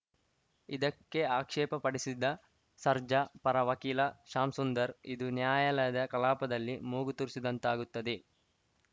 ಇದಕ್ಕೆ ಆಕ್ಷೇಪ ಪಡಿಸಿದ ಸರ್ಜಾ ಪರ ವಕೀಲ ಶ್ಯಾಂಸುಂದರ್‌ ಇದು ನ್ಯಾಯಾಲಯದ ಕಲಾಪದಲ್ಲಿ ಮೂಗು ತೂರಿಸಿದಂತಾಗುತ್ತದೆ